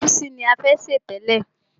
Ègúsí ni a fẹ́ sè tẹ́lẹ̀.